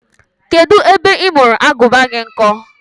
Kedụ ebe ị mụrụ Agụba gị nkọ?